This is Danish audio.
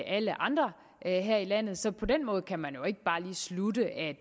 alle andre her her i landet så på den måde kan man jo ikke bare lige slutte at